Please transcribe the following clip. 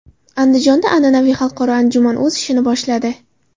Andijonda an’anaviy xalqaro anjuman o‘z ishini boshladi.